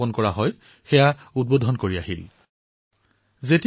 তাত অনুষ্ঠিত হোৱা উত্তমৰণোৎসৱৰ উদঘাটনৰ বাবে তেওঁ গৈছিল